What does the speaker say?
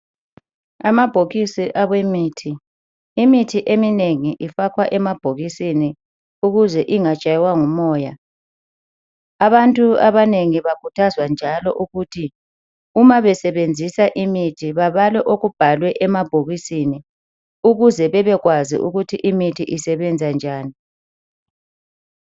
Amabhokisi awemithi, imithi eminengi ifakwa emabhokisini ukuze ingatshaywa ngumoya. Abantu abanengi bakhuthazwa njalo ukuthi uma besebenzisa imithi babale okubhalwe emabhokisini ukuze bebekwazi ukuthi imithi isebenza njani.